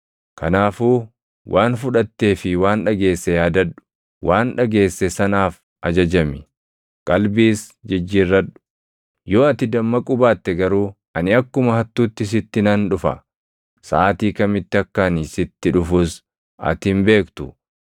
Kanaafuu waan fudhattee fi waan dhageesse yaadadhu; waan dhageesse sanaaf ajajami; qalbiis jijjiirradhu. Yoo ati dammaquu baatte garuu ani akkuma hattuutti sitti nan dhufa; saʼaatii kamitti akka ani sitti dhufus ati hin beektu.